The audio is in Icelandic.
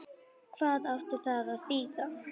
Hvað átti það að þýða?